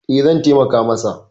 E, zan taimaka masa.